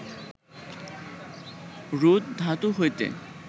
রুদ্ ধাতু হইতে